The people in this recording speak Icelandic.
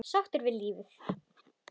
Sáttur við lífið.